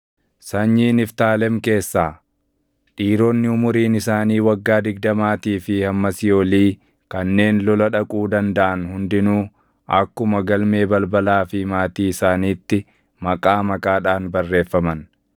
Sanyii Niftaalem keessaa: Dhiironni umuriin isaanii waggaa digdamaatii fi hammasii olii kanneen lola dhaquu dandaʼan hundinuu akkuma galmee balbalaa fi maatii isaanitti maqaa maqaadhaan barreeffaman.